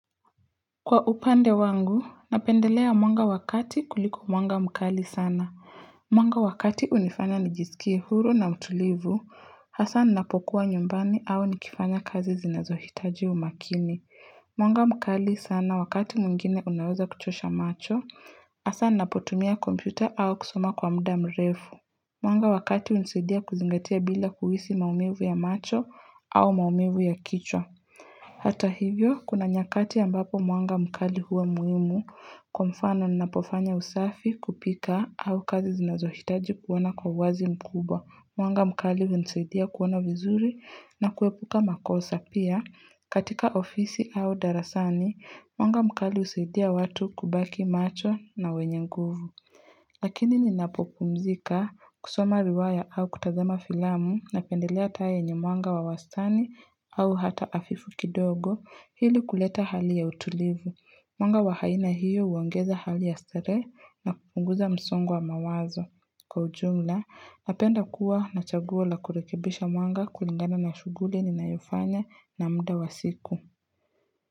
Kwa upande wangu, napendelea mwanga wa kati kuliko mwanga mkali sana. Mwanga wa kati unifanya nijisikie huru na utulivu, hasa ninapokuwa nyumbani au nikifanya kazi zinazohitaji umakini. Mwanga mkali sana wakati mwingine unaweza kuchosha macho, hasa ninapotumia kompyuta au kusoma kwa muda mrefu. Mwanga wa kati unisidia kuzingatia bila kuhisi maumivu ya macho au maumivu ya kichwa. Hata hivyo, kuna nyakati ambapo mwanga mkali huwa muhimu kwa mfano ninapofanya usafi kupika au kazi zinazohitaji kuona kwa uwazi mkubwa, mwanga mkali vinasaidia kuona vizuri na kuepuka makosa pia katika ofisi au darasani, mwanga mkali usaidia watu kubaki macho na wenye nguvu. Lakini ninapopumzika, kusoma riwaya au kutazama filamu, napendelea taa yenye mwanga wa wastani au hata afifu kidogo hili kuleta hali ya utulivu. Mwanga wa haina hiyo uongeza hali ya stare na kupunguza msongo wa mawazo. Kwa ujumla, napenda kuwa na chaguo la kurekebisha mwanga kulingana na shuguli ninayofanya na mda wa siku.